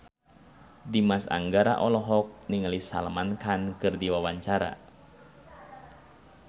Dimas Anggara olohok ningali Salman Khan keur diwawancara